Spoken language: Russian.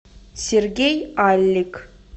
сергей аллик